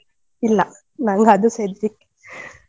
ಇಲ್ಲ. ನಂಗ್ ಅದುಸ ಹೆದ್ರಿಕೆ .